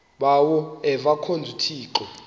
bawo avemkhonza uthixo